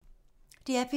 DR P3